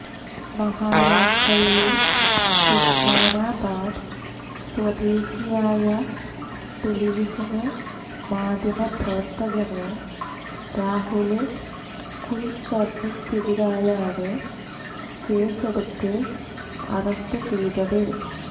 മഹാരാഷ്ട്ര യിലെ ഉസ്മാനാബാദ് സ്വദേശിയായ ടെലിവിഷന് മാധ്യമ പ്രവര്ത്തകന് രാഹുല് കുല്ക്കര്ണിക്കെതിരെയാണ് കേസെടുത്ത് അറസ്റ്റ് ചെയ്തത്